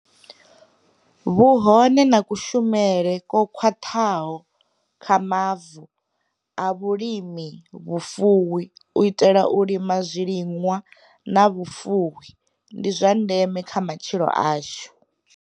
Vhuhone na kushumisele kwo khwaṱhaho kwa mavu a vhulimi, vhufuwi u itela u lima zwiliṅwa na vhufuwi ndi zwa ndeme kha matshilo ashu.